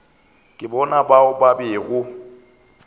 ke bona bao ba bego